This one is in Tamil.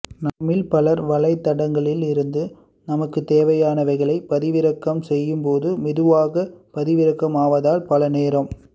நம்மில் பலர் வளைத்தடங்களில் இருந்து நமக்கு தேவையானவைகளை பதிவிறக்கம் செய்யும் போது மெதுவாக பதிவிறக்கம் ஆவதால் பல நேரம்